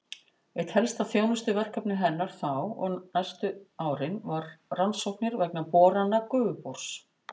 Eitt helsta þjónustuverkefni hennar þá og næstu árin var rannsóknir vegna borana Gufubors.